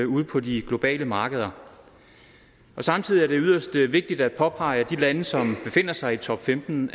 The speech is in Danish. ude på de globale markeder samtidig er det yderst vigtigt at påpege at af de lande som befinder sig i top femten